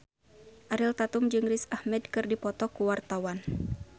Ariel Tatum jeung Riz Ahmed keur dipoto ku wartawan